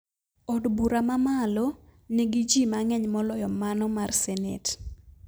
Od bura mamalo nigi jii mang`eny moloyo mano mar senet